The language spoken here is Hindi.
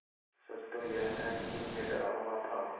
सच तो यह है कि मैं डरा हुआ था